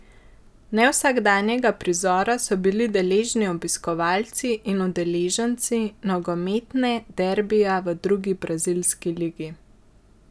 Nevsakdanjega prizora so bili deležni obiskovalci in udeleženci nogometne derbija v drugi brazilski ligi.